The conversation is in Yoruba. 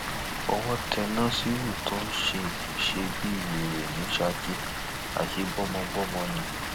owó tẹ nasiru tó ń ṣe ń ṣe bíi wèrè ní saki àsè gbọmọgbọmọ ni